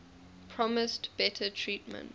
promised better treatment